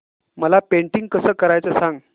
मला पेंटिंग कसं करायचं सांग